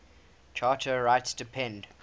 charter rights depend